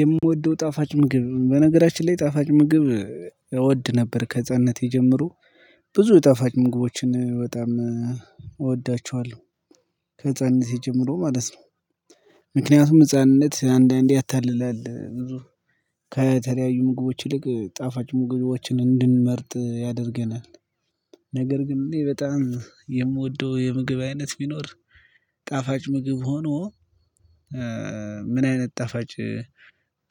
የምወደው ጣፋጭ ምግብ በነገራችን ላይ ጣፋጭ ምግብ እወድ ነበር ከህፃንነቴ የጀመሮ ብዙ ጠፋጭ ምግቦችን በጣም እወዳቸዋለሁ። ከህፃንነቴ ጀምሮ ማለት ነው። ምክንያቱም ህፃንነት አንዳንዴ ያታልላል ብዙ ከተለያዩ ምግቦች ይልቅ ጣፋጭ ምግቦችን እንድንመርጥ ያደርገናል። ነገር ግን እኔ እንዴ በጣም የምወደው የምግብ አይነት ቢኖር ጣፋጭ ምግብ ሆኖ። ምን አይነት ጣፋጭ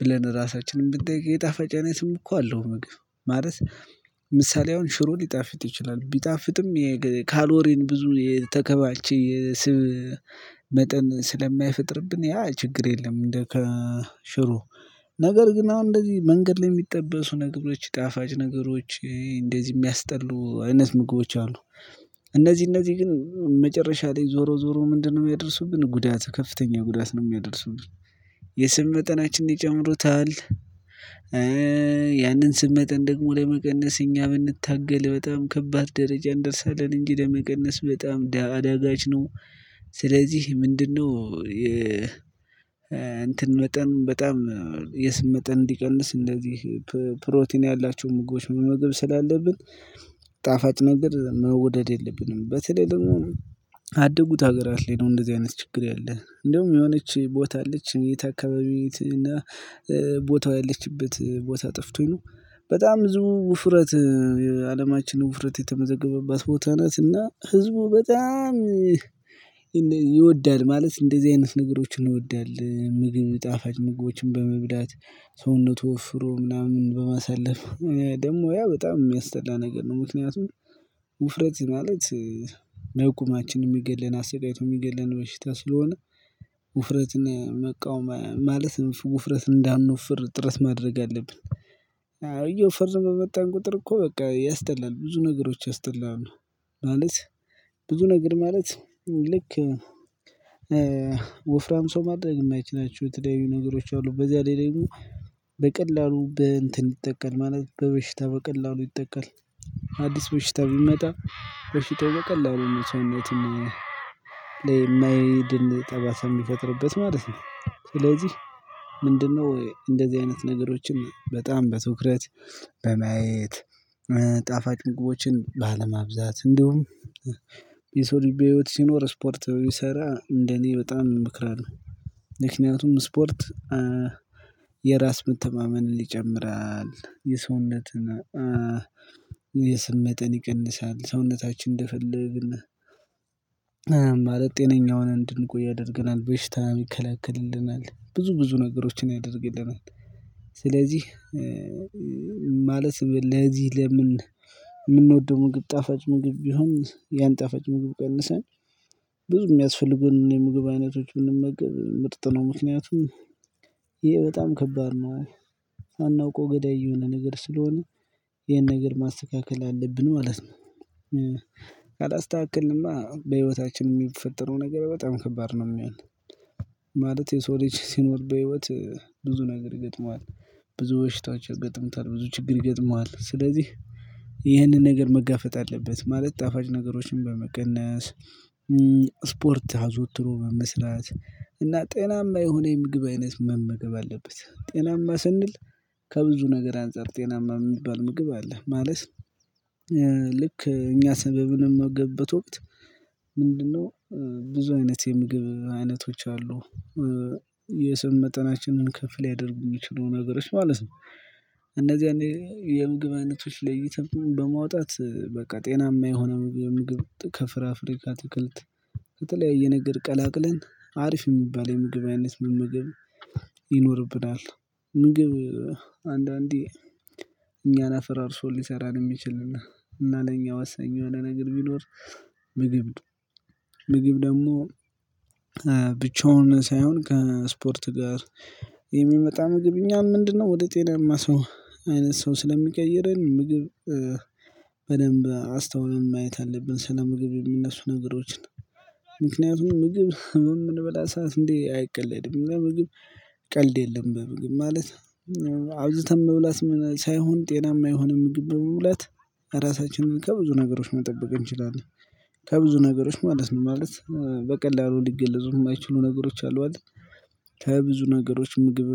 ብለን ራሳችንን ብንጠይቅ የጣፋጭ አይነትም እኮ አለው ምግብ? ማለት ምሳሌ አሁን ሽሮ ሊጣፍጥ ይችላል ቢጣፍጥም የካሎሪን ብዙ የተከባቸ የስብ መጠን ስለማይፈጥርብን ያ ችግር የለም። እንደ ከሽሮ ነገር ግን አሁን እንደዚህ መንገድ ላይ የሚጠበሱ ነገሮች ጣፋጭ ነገሮች እንደዚህ የሚያስጠሉ አይነት ምግቦች አሉ። እነዚህ እነዚህ ግን መጨረሻ ላይ ዞሮ ዞሮ ምንድነው? የሚያደርሱብን ጉዳት ከፍተኛ ጉዳት ነው የሚያደርሱብን። የስብ መጠናችንን ይጨምሩታል። ያንን ስብ መጠን ደግሞ ለመቀነስ እኛ ብንታገል በጣም ከባድ ደረጃ እንደርሳለን እንግዲ ለመቀነስ በጣም ደሃ አዳጋች ነው። ስለዚህ ምንድነው? እንትን መጠን በጣም የስብ መጠን እንዲቀንስ እንደዚህ ፕሮቲን ያላቸው ምግቦች መመገብ ስላለብን ጣፋጭ ነገር መውደድ የለብንም። በተለይ ደግሞ አደጉት ሀገራት ላይ ነው እንደዚህ አይነት ችግር ያለ እንደውም የሆነች ቦታ አለች የት አካባቢ እና ቦታው ያለችበት ቦታ ጠፍቶኝ ነው። በጣም ብዙ ውፍረት የአለማችን ውፍረት የተመዘገበባት ቦታ ናት። እና ህዝቡ በጣም ይወዳል ማለት እንደዚህ አይነት ነገሮችን እንወዳለን ምግብ ጣፋጭ ምግቦችን በመብላት ሰውነቱ ወፍሮ ምናምን በማሳለፍ ደግሞ ያ በጣም የሚያስጠላ ነገር ነው። ምክንያቱም ውፍረት ማለት ነጎማችን የሚገለን አሰቃይቶ የሚገለን በሽታ ስለሆነ። ውፍረትና መቃወም ማለት ውፍረት እንዳንወፍር ጥረት ማድረግ አለብን። አየው ፍርዘን በመጣን ቁጥር እኮ በቃ ያስጠላል ብዙ ነገሮች ያስጠላሉ። ማለት ብዙ ነገር ማለት ልክ ወፍራም ሰው ማድረግ የማይችላችሁ የተለያዩ ነገሮች አሉ በዚያ ላይ ደግሞ በቀላሉ በእንትን ይጠቃል ማለት በበሽታ በቀላሉ ይጠቃል። አዲስ በሽታ ቢመጣ በሽታው በቀላሉ ነው ሰውነት ላይ ለማይድን ጠባሳ የሚፈጥርበት ማለት ነው። ስለዚህ ምንድነው? እንደዚህ አይነት ነገሮችን በጣም በትኩረት በማየት ጣፋጭ ምግቦችን ባለማብዛት እንደውም የሰው ልቤ ህይወት ሲኖር ስፖርት ቢሰራ እንደኔ በጣም እምክራለሁ። ምክንያቱም ስፖርት የራስ መተማመንን ይጨምራል። የሰውነትን የስብ መጠን ይቀንሳል። ሰውነታችን እንደፈለግን ማለት ጤነኛ ሆነን እንድንቆይ ያደርገናል በሽታ ይከላክልልናል ብዙ ብዙ ነገሮችን ያደርግልናል። ስለዚህ ማለት ለዚህ ለምን የምንወደው ምግብ ጣፋጭ ምግብ ቢሆን ያን ጣፋጭ ምግብ ቀንሰን። ብዙ የሚያስፈልጉን የምግብ አይነቶች ብንመገብ ምርጥ ነው። ምክንያቱም ይሄ በጣም ከባድ ነው። ሳናውቀው ገዳይ የሆነ ነገር ስለሆነ ይሄን ነገር ማስተካከል አለብን ማለት ነው። ካላስተካክልንማ በህይወታችን የሚፈጠረው ነገር በጣም ከባድ ነው የሚሆነ። ማለት የሰው ልጅ ሲኖር በህይወት ብዙ ነገር ይገጥመዋል። ብዙ በሽታዎች ያገጥምታል ብዙ ችግር ይገጥመዋል። ስለዚህ ይህንን ነገር መጋፈጥ አለበት ማለት ጣፋጭ ነገሮችን በመቀነስ። ስፖርት አዘወትሮ በመስራት እና ጤናማ የሆነ የምግብ አይነት መመገብ አለበት። ጤናማ ስንል ከብዙ ነገር አንፃር ጤናማ የሚባል ምግብ አለ። ማለት ልክ እኛ ሰበብንም መገበት ወቅት ምንድነው? ብዙ አይነት የምግብ አይነቶች አሉ የስብ መጠናችንን ከፍ ሊያደርጉ የሚችሉ ነገሮች ማለት ነው። እንደዚህ አይነት የምግብ አይነቶች ለይተን በማውጣት በቃ ጤናማ የሆነ ምግብ ከፍራፍሬ ከአትክልት ከተለያየ ነገር ቀላቅለን አሪፍ የሚባል የምግብ አይነት ምግብ ይኖርብናል። ምግብ አንዳንዴ እኛን አፍራርሶ ሊሰራን የሚችልና እና ለኛ ዋሳኝ የሆነ ነገር ቢኖር ምግብ ምግብ ደግሞ ብቻውን ሳይሆን ከስፖርት ጋር የሚመጣ ምግብ እኛን ምንድነው ወደ ጤናማ ሰው አይነት ሰው ስለሚቀይረን ምግብ። በደንብ አስተውለን ማየት አለብን። ስለ ምግብ የሚነሱ ነገሮችን ምክንያቱም ምግብ የምንበላ ሰዓት እንዴ አይቀለድም በምግብ ቀልድ የለም። በምግብ ማለት አብዛተን መብላት ሳይሆን ጤናማ የሆነ ምግብ በመብላት ራሳችንን ከብዙ ነገሮች መጠበቅ እንችላለን። ከብዙ ነገሮች ማለት ነው ማለት በቀላሉ ሊገለጹ የማይችሉ ነገሮች አሉ አለ። ከብዙ ነገሮች ምግብ